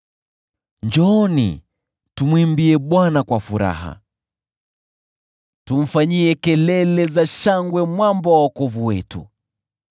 Njooni, tumwimbie Bwana kwa furaha; tumfanyie kelele za shangwe Mwamba wa wokovu wetu.